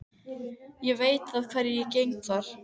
Ég veit að hverju ég geng þar.